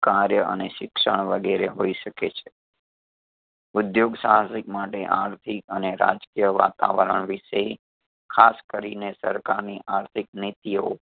કાર્ય અને શિક્ષણ વગેરે હોઈ શકે છે ઉધ્યોગ સાહસિક માટે આર્થિક અને રાજકીય વાતાવરણ વિષે ખાસ કરીને સરકારની આર્થિક નીતિઓ